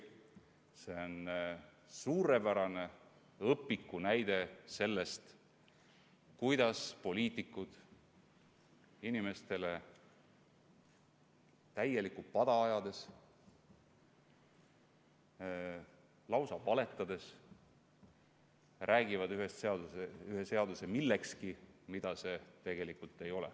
See on suurepärane õpikunäide sellest, kuidas poliitikud inimestele täielikku pada ajades, lausa valetades, räägivad ühe seaduse millekski, mida see tegelikult ei ole.